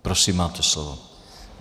Prosím, máte slovo.